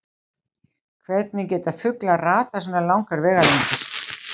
Hvernig geta fuglar ratað svona langar vegalengdir?